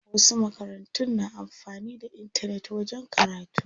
Wasu makarantun na amfanin da intanet wajen karatu.